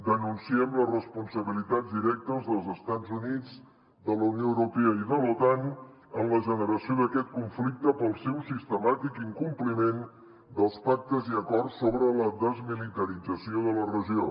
denunciem les responsabilitats directes dels estats units de la unió europea i de l’otan en la generació d’aquest conflicte pel seu sis·temàtic incompliment dels pactes i acords sobre la desmilitarització de la regió